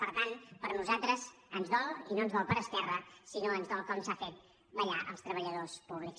per tant per nosaltres ens dol i no ens dol per esquer·ra sinó ens dol com s’ha fet ballar els treballadors pú·blics